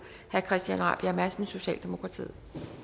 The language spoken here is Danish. herre christian rabjerg madsen socialdemokratiet